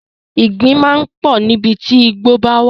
Ìgbín máa ń pọ̀ níbi tí ìgbo bá wà.